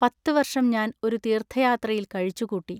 പത്തുവൎഷം ഞാൻ ഒരു തീൎത്ഥയാത്രയിൽ കഴിച്ചുകൂട്ടി.